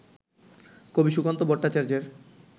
কবি সুকান্ত ভট্টাচার্যের